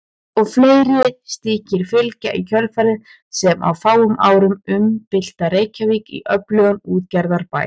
Og fleiri slíkir fylgja í kjölfarið sem á fáum árum umbylta Reykjavík í öflugan útgerðarbæ.